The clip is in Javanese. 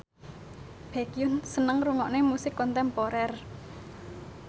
Baekhyun seneng ngrungokne musik kontemporer